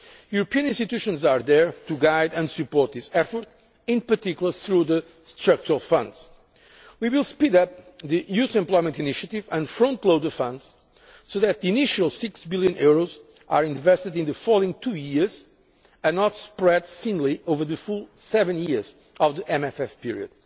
The European institutions are there to guide and support this effort, in particular through the structural funds we will speed up the youth employment initiative and front load the funds so that the initial EUR 6 billion is invested in the following two years, and not spread thinly over the full seven years of the MFF period.